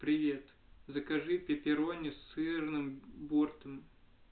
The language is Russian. привет закажи пеперони сырным бортом